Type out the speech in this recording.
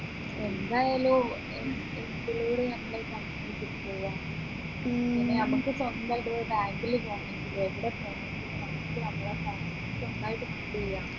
എന്തായാലും നമ്മുക്ക് സ്വന്തായിട്ട് bank ൽ പോണെങ്കിൽ എവിടെ പോന്നെങ്കിലും നമ്മുക്ക് നമ്മളെ